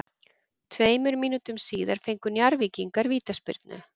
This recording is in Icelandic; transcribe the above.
Tveimur mínútum síðar fengu Njarðvíkingar vítaspyrnu.